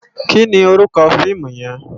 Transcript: Ki ni órúkò fiimú yèn?